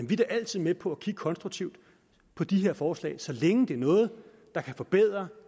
vi da altid med på at kigge konstruktivt på de her forslag så længe det er noget der kan forbedre